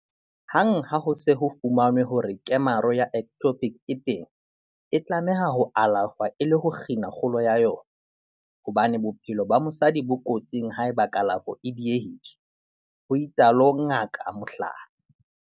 "Hang ha ho se ho fumanwe hore kemaro ya ectopic e teng, e tlameha ho alafshwa e le ho kgina kgolo ya yona, hobane bophelo ba mosadi bo kotsing haeba kalafo e diehiswa," ho itsalo Ngaka Mhlari.